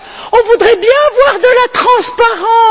On voudrait bien voir de la transparence.